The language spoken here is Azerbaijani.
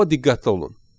Amma diqqətli olun.